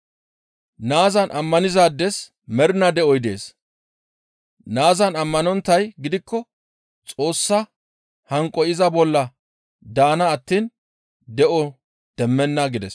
Naazan ammanizaades mernaa de7oy dees. Naazan ammanonttay gidikko Xoossa hanqoy iza bolla daana attiin de7o demmenna» gides.